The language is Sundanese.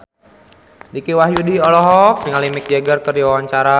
Dicky Wahyudi olohok ningali Mick Jagger keur diwawancara